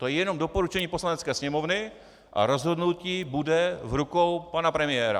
To je jenom doporučení Poslanecké sněmovny a rozhodnutí bude v rukou pana premiéra.